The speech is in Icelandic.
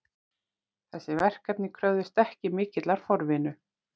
Þessi verkefni kröfðust ekki mikillar forvinnu